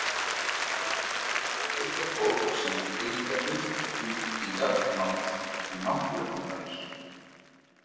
Til er fólk sem vill tengja fullt tungl í jarðnánd við náttúruhamfarir.